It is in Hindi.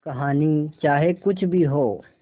कहानी चाहे कुछ भी हो